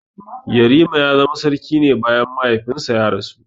Yarima ya zama sarki ne bayan mahaifinsa ya rasu.